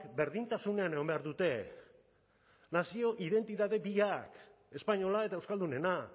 berdintasunean egon behar dute nazio identitate biak espainola eta euskaldunena